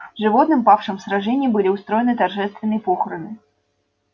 животным павшим в сражении были устроены торжественные похороны